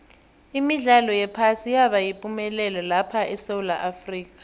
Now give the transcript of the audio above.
imidlalo yephasi yaba yipumelelo lapha esewula afrika